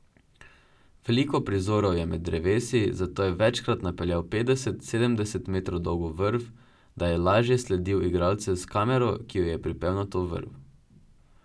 Veliko prizorov je med drevesi, zato je večkrat napeljal petdeset, sedemdeset metrov dolgo vrv, da je lažje sledil igralcem s kamero, ki jo je pripel na to vrv.